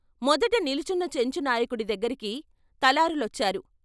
మొదట నిలుచున్న చెంచు నాయకుడి దగ్గరికి తలార్లు లొచ్చారు.